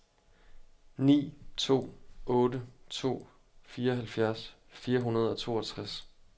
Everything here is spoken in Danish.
ni to otte to fireoghalvfjerds fire hundrede og toogtres